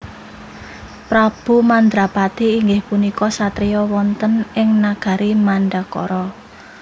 Prabu Mandrapati inggih punika satriya wonten ing nagari Mandaraka